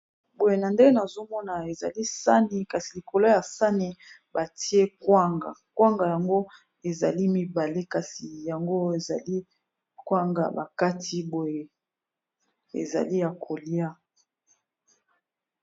boye nazomona ezali sani kasi likolo ya sani batie kwanga, kwanga yango ezali mibale kasi yango ezali kwanga bakati boye ezali ya kolia.